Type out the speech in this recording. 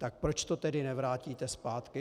Tak proč to tedy nevrátíte zpátky?